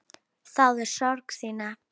Þáði sorg þína.